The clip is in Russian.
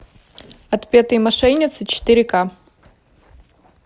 отпетые мошенницы четыре ка